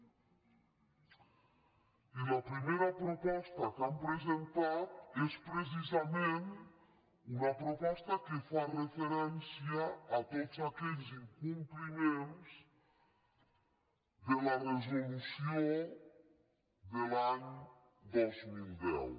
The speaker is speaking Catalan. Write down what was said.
i la primera proposta que hem presentat és precisa·ment una proposta que fa referència a tots aquells in·compliments de la resolució de l’any dos mil deu